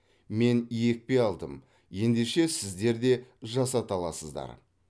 мен екпе алдым ендеше сіздер де жасата аласыздар